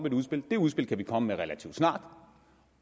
et udspil det udspil kan vi komme med relativt snart